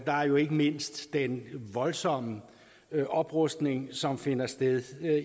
der er jo ikke mindst den voldsomme oprustning som finder sted